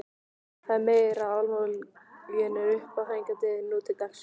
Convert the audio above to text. Það er meira hvað almúginn er uppáþrengjandi nú til dags.